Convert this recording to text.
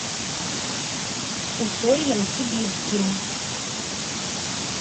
усольем сибирским